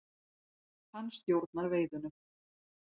Hann stjórnar veiðunum.